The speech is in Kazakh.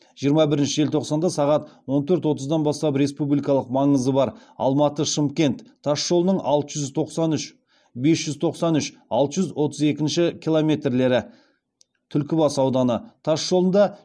жиырма бірінші желтоқсанда сағат он төрт отыздан бастап республикалық маңызы бар алматы шымкент тас жолының бес жүз тоқсан үш алты жүз отыз екінші километрлері түлкібас ауданы тас жолында